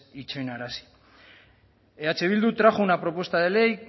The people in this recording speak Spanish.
itxoinarazi eh bildu trajo una propuesta de ley